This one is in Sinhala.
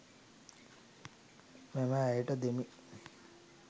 මම ඇයට දෙමි